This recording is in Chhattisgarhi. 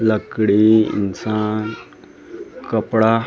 लकड़ी इंसान कपड़ा-- .